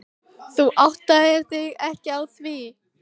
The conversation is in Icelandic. Þú áttaðir þig ekki á því.